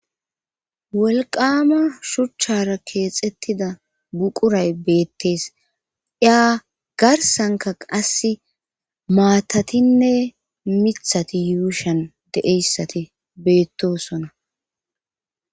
Wolqama shuchchara keexettida buquray beettees iya garsanka qass maatatinne mithati yuushan deeyssati beettosona.